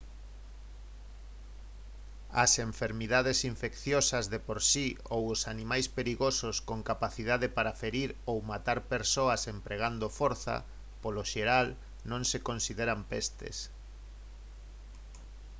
as enfermidades infecciosas de por si ou os animais perigosos con capacidade para ferir ou matar persoas empregando forza polo xeral non se consideran pestes